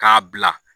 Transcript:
K'a bila